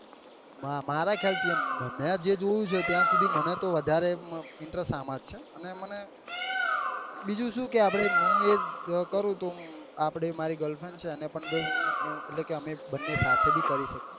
મારા ખ્યાલ થી એમ મેં જે જોયું છે ત્યાં સુધી મને તો વધારે interest આમાં જ છે અને મને બીજું શું કે આપડે મુ એ કરું તો આપડે મારી girl friend છે એન પણ હું એટલે કે હું અમે બન્ને સાથે પણ કરી શકીએ ને એ